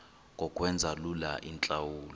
ngokwenza lula iintlawulo